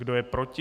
Kdo je proti?